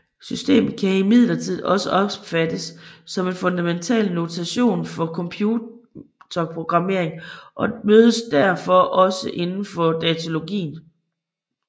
Systemet kan imidlertid også opfattes som en fundamental notation for computer programmering og mødes derfor også indenfor datalogien